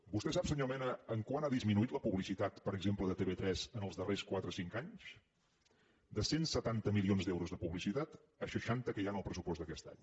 vostè sap senyor mena quant ha disminuït la publicitat per exemple de tv3 els darrers quatre cinc anys de cent i setanta milions d’euros de publicitat a seixanta que hi ha en el pressupost d’aquest any